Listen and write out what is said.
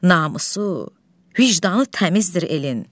Namusu, vicdanı təmizdir elin.